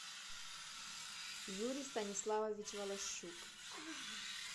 юрий станиславович волощук